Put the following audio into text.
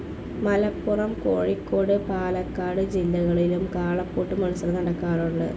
മലപ്പുറം, കോഴിക്കോട്, പാലക്കാട് ജില്ലകളിലും കാളപ്പൂട്ട് മത്സരം നടക്കാറുണ്ട്.